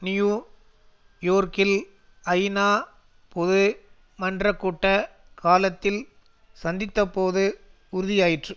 new யோர்க்கில் ஐநாபொது மன்றக்கூட்ட காலத்தில் சந்தித்தபோது உறுதியாயிற்று